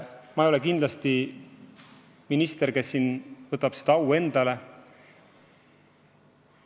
Ma ei ole kindlasti minister, kes selle au endale võtab.